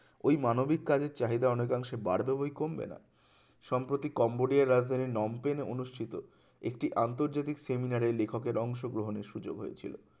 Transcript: ওই মানবিক কাজের চাহিদা অনেক অংশে বাড়বে বই কমবে না সম্প্রতি কম্বোডিয়ার রাজধানী নমপেনে অনুষ্ঠিত একটি আন্তর্জাতিক seminar এ লেখকের অংশগ্রহণের সুযোক হয়েছিলো